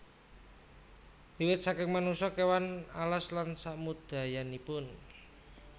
Wiwit saking manungsa kéwan alas lan samudayanipun